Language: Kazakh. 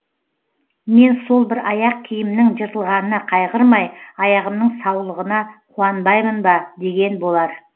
мен сол бір аяқ киімнің жыртылғанына қайғырмай аяғымның саулығына қуанбаймын ба деген болар